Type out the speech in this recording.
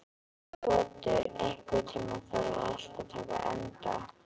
Otur, einhvern tímann þarf allt að taka enda.